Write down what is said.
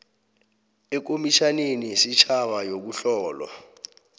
ekomitjhaneni yesitjhaba yokuhlolwa